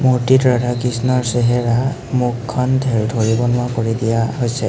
মুৰ্ত্তিটো ৰাধা কৃষ্ণৰ চেহেৰা মুখখন ধেৰ ধৰিব নোঁৱাৰা কৰি দিয়া হৈছে।